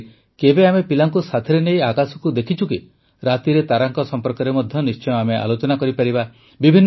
ସେହିପରି କେବେ ଆମେ ପିଲାଙ୍କୁ ସାଥିରେ ନେଇ ଆକାଶକୁ ଆମେ ଦେଖିଛୁ କି ରାତିରେ ତାରାଙ୍କ ସମ୍ପର୍କରେ ମଧ୍ୟ ନିଶ୍ଚୟ ଆଲୋଚନା ହେଉଥିବ